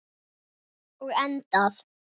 Og endað.